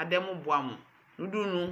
adɛmʋ bʋamʋnʋ ʋdʋnʋ